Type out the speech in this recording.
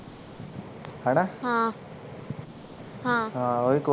ਹਣਾ ਹਾਂ ਹਾਂ ਉਹਦੇ